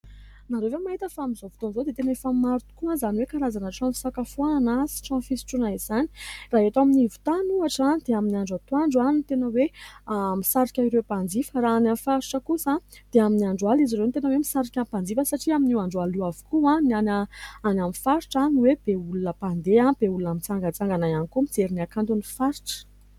Ianreo ve mahita fa amin'izao fotoan'izao dia tena efa maro tokoa izany hoe karazana trano fisakafoanana sy trano fisotroana izany? Raha eto anivo tany ohatra dia amin'ny andro antoandro no tena hoe misarika ireo mpanjifa, raha any amin'ny faritra kosa dia amin'ny andro alina izy ireo no tena hoe misarika mpanjifa satria amin'io andro alina io avokoa ny any amin'ny faritra no hoe be olona mpandeha, be olona mitsangatsangana ihany koa mijery ny akanton' ny faritra.